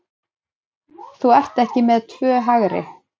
Þú ert ekki með tvö hægri.